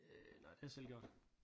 Øh nej det har jeg selv gjort